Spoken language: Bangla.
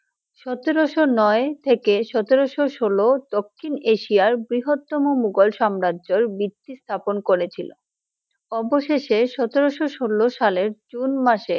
সতেরশো নয় থেকে সতেরশো সলো দক্ষিণ এশিয়ার বৃহ তম মুঘল সাম্রাজ্যের বৃত্তি স্থাপন করে ছিলো, অবশেষে সতেরশো সলো সালে জুন মাসে!